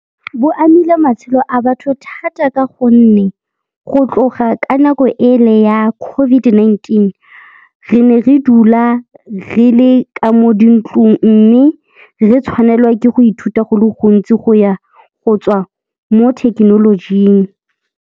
Bo amile matshelo a batho thata ka gonne go tloga ka nako e le ya COVID-19, re ne re dula re le ka mo dintlong mme re tshwanelwa ke go ithuta go le gontsi go ya go tswa mo thekenolojing.